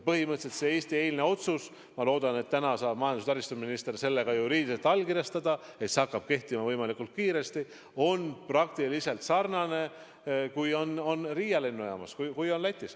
Põhimõtteliselt see Eesti eilne otsus – ma loodan, et täna saab majandus- ja taristuminister selle ka juriidiliselt allkirjastada, et see hakkaks kehtima võimalikult kiiresti – on tehtud sarnaselt sellega, mis on tehtud Riia lennujaama suhtes Lätis.